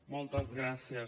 moltes gràcies